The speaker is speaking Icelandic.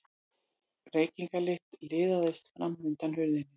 Reykingalykt liðaðist fram undan hurðinni.